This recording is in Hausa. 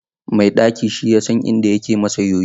Mai ɗaki shi yasan inda yake masa yoyo.